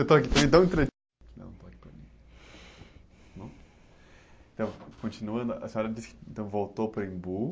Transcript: Eu estou aqui tão entre. Dá um toque para mim, tá bom? Então, continuando, a senhora disse que, então, voltou para o Embu.